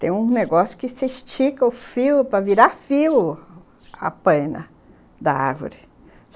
Tem um negócio que você estica o fio para virar fio a paina da árvore.